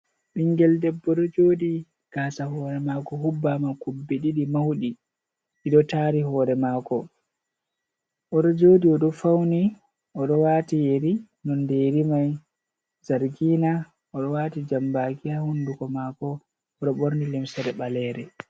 Ɓingel ɗeɓɓo ɗo joɗi. Gasa hore mako huɓɓama kuɓɓe ɗiɗi mauɗi. Ɗiɗo tari hore mako. Oɗo joɗi, oɗo fauni, oɗo wati yeri. nonɗe yeri mai zargina. Oɗo wati jamɓaki ha hunɗugo mako. Oɗo ɓorni lemsere ɓalere.